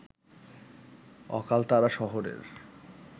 অকালতারা শহরের